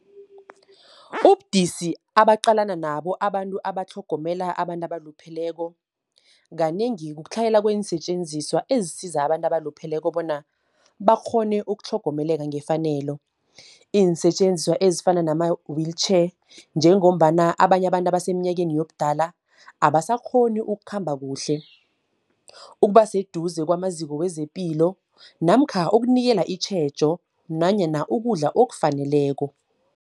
Ubudisi abaqalana nabo abantu abatlhogomela abantu abalupheleko. Kanengi ukutlhayela kweensetjenziswa ezisiza abantu abalupheleko bona, bakghone ukutlhogomeleka ngefanelo. Iinsetjenziswa ezifana nama-wheelchair, njengombana abanye abantu abasemnyakeni yobudala abasakghoni ukukhamba kuhle. Ukuba seduze kwamaziko wezepilo namkha ukunikela itjhejo nanyana ukudla okufaneleko.